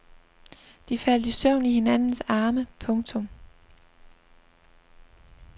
De faldt i søvn i hinandens arme. punktum